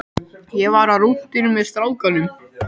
Ég var á rúntinum með strákunum.